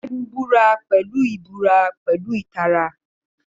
Segun búra pẹ̀lú ìbúra pẹ̀lú ìtara.